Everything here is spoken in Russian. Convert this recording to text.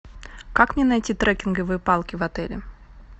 как мне найти трекинговые палки в отеле